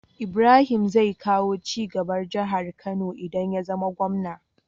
Ibrahim zai kawo cigaba jahar kano idan yazama gwamna